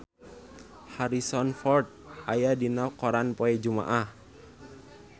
Harrison Ford aya dina koran poe Jumaah